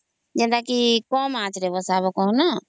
ଯେତକି କମ ଆଞ୍ଚ ରେ ବସିବା କହନା